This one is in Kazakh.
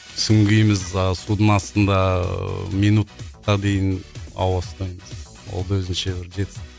сүңгиміз а судың астында ыыы минутқа дейін ауа ұстаймыз ол да өзінше бір жетістік